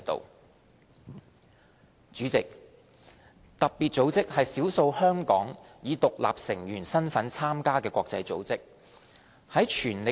代理主席，特別組織是少數香港以獨立成員身份參加的國際組織。